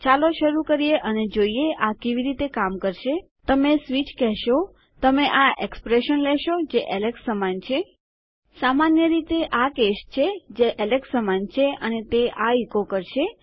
ચાલો શરૂ કરીએ અને જોઈએ આ કેવી રીતે કામ કરશે તમે સ્વિચ કહેશો તમે આ એક્સપ્રેસન લેશો જે એલેક્સ સમાન છે સામાન્ય રીતે આ કેસ છે જે એલેક્સ સમાન છે અને તે આ ઇકો કરશે